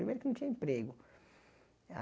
Primeiro que não tinha emprego.